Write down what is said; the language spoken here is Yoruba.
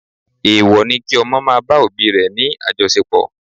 Èèwọ̀ ni kí ọmọ máa bá òbí ni àjọṣepọ̀